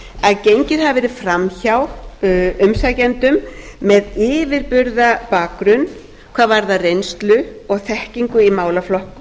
að gengið hafi verið fram hjá umsækjendum með yfirburða bakgrunn hvað varðar reynslu og þekkingu í málaflokknum